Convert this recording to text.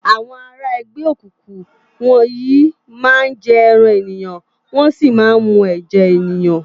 Awòn àrá ègbè ókúkú wòn yi má n jè èrán éniyán wòn si má n mú èjè éniyán